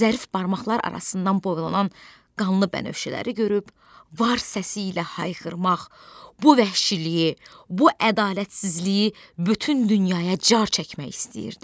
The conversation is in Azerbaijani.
Zərif barmaqlar arasından boylanan qanlı bənövşələri görüb var səsi ilə hayqırmaq, bu vəhşiliyi, bu ədalətsizliyi bütün dünyaya car çəkmək istəyirdi.